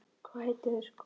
Hvað heitir þessi kona?